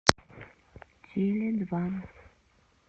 теледва